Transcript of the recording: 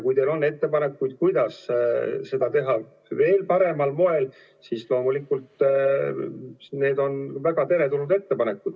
Kui teil on ettepanekuid, kuidas seda teha veel paremal moel, siis loomulikult on need väga teretulnud.